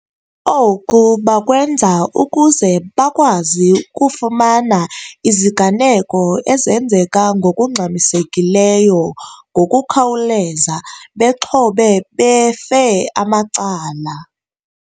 Oku bakwenza ukuze bakwazi ukufumana iziganeko ezenzeka ngokungxmisekileyo ngokukhawuleza bexhobe befe amacala.